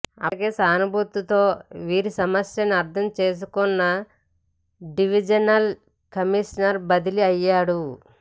అప్పటికే సానుభూతితో వీరి సమస్యను అర్థం చేసుకున్న డివిజనల్ కమీషనర్ బదిలీ అయ్యాడు